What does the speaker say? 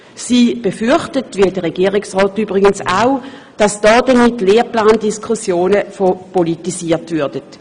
Sie befürchtet, wie der Regierungsrat übrigens auch, dass damit Lehrplandis kussionen verpolitisiert würden.